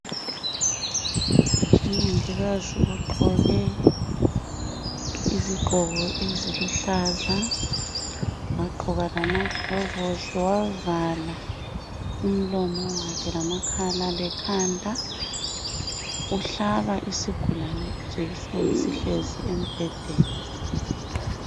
Umongikazi ugqoke izigqoko eziluhlaza , wagqoka lamaglovusi wavala umlomo wakhe lamakhala lekhanda, uhlaba isigulane ijekiseni sihlezi embhedeni